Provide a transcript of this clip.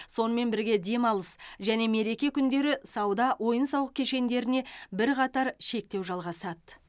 сонымен бірге демалыс және мереке күндері сауда ойын сауық кешендеріне бірқатар шектеу жалғасады